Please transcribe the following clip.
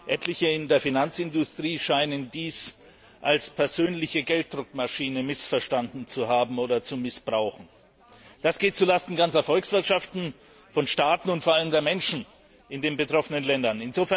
Etliche in der Finanzindustrie scheinen diese Instrumente als persönliche Gelddruckmaschine missverstanden zu haben oder zu missbrauchen. Das geht zulasten ganzer Volkswirtschaften, von Staaten und vor allem der Menschen in den betroffenen Ländern!